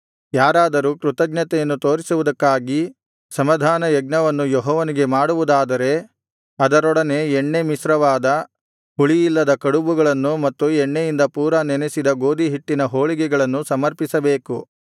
ಯಾರಾದರೂ ಕೃತಜ್ಞತೆಯನ್ನು ತೋರಿಸುವುದಕ್ಕಾಗಿ ಸಮಾಧಾನಯಜ್ಞವನ್ನು ಯೆಹೋವನಿಗೆ ಮಾಡುವುದಾದರೆ ಅದರೊಡನೆ ಎಣ್ಣೆ ಮಿಶ್ರವಾದ ಹುಳಿಯಿಲ್ಲದ ಕಡುಬುಗಳನ್ನು ಮತ್ತು ಎಣ್ಣೆಯಿಂದ ಪೂರಾ ನೆನಸಿದ ಗೋದಿ ಹಿಟ್ಟಿನ ಹೋಳಿಗೆಗಳನ್ನು ಸಮರ್ಪಿಸಬೇಕು